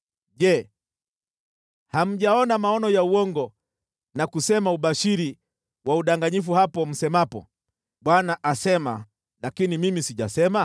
Je, hamjaona maono ya uongo na kusema ubashiri wa udanganyifu hapo msemapo, “ Bwana asema,” lakini Mimi sijasema?